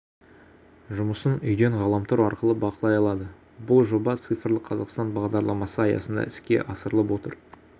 жұмысын үйден ғаламтор арқылы бақылай алады бұл жоба цифрлық қазақстан бағдарламасы аясында іске асырылып отыр